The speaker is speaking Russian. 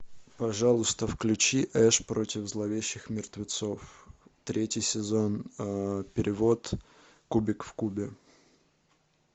пожалуйста включи эш против зловещих мертвецов третий сезон перевод кубик в кубе